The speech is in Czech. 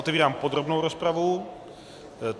Otevírám podrobnou rozpravu.